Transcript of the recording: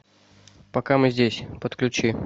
пока мы здесь подключи